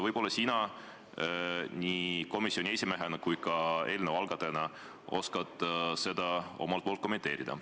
Võib-olla sina komisjoni esimehena ja eelnõu algatajana oskad seda kommenteerida.